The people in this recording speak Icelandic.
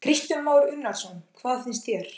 Kristján Már Unnarsson: Hvað finnst þér?